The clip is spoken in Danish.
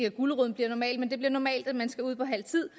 at guleroden bliver normal men det bliver normalt at man skal ud på halv tid